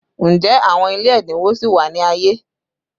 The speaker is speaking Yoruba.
Njẹ awọn ile ẹdinwo sì wa ni aye?